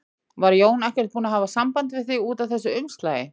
Var Jón ekkert búinn að hafa samband við þig út af þessu umslagi?